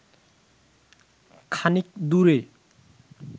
খানিক দূরে